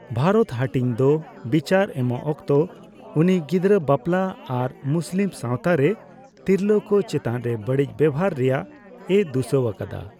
ᱵᱷᱟᱨᱚᱛ ᱦᱟᱹᱴᱤᱧᱫᱚ ᱵᱤᱪᱟᱹᱨ ᱮᱢᱚᱜ ᱚᱠᱛᱚ, ᱩᱱᱤ ᱜᱤᱫᱽᱨᱟᱹ ᱵᱟᱯᱞᱟ ᱟᱨ ᱢᱩᱥᱞᱤᱢ ᱥᱟᱣᱛᱟᱨᱮ ᱛᱤᱨᱞᱟᱹᱠᱚ ᱪᱮᱛᱟᱱᱨᱮ ᱵᱟᱹᱲᱤᱡᱽ ᱵᱮᱣᱦᱟᱨ ᱨᱮᱭᱟᱜᱼᱮ ᱫᱩᱥᱟᱹᱣ ᱟᱠᱟᱫᱟ ᱾